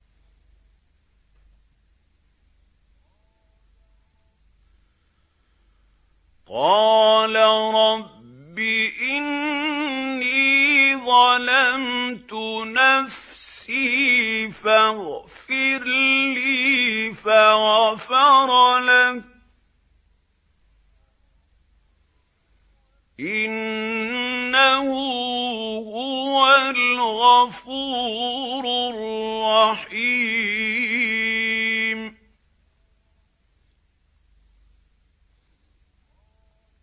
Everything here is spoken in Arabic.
قَالَ رَبِّ إِنِّي ظَلَمْتُ نَفْسِي فَاغْفِرْ لِي فَغَفَرَ لَهُ ۚ إِنَّهُ هُوَ الْغَفُورُ الرَّحِيمُ